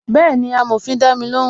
Bẹẹni, amòfin dami lóhùn